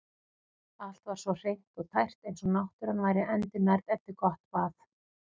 Allt var svo hreint og tært eins og náttúran væri endurnærð eftir gott bað.